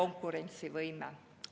… konkurentsivõime.